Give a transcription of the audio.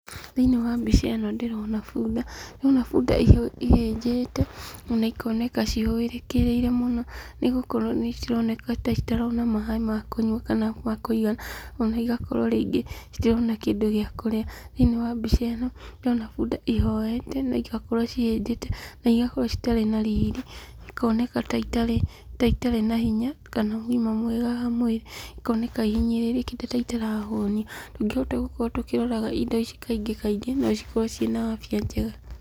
Thĩiniĩ wa mbica ĩno , ndĩrona bunda , ndĩrona bunda ihĩnjĩte ona ikoneka cihũrĩkĩrĩire mũno , nĩgũkorwo nĩ ironeka ta itarona maaĩ makũnyua kana makũigana, ona igakorwo ningĩ itirona kĩndũ gĩa kũrĩa, thĩiniĩ wa mbica ĩno ndĩrona bunda ihohete na igakorwo ihĩnjĩte na igakorwo itarĩ na riri na ikoneka ta itarĩ na hinya, kana ũgima mwega wa mwĩrĩ, ikoneka ihinyĩrĩrĩkite ta itarahũnio, tũngĩhota gũkorwo tũkĩrora indo ici kaingĩ no ikorwo cina afya njega.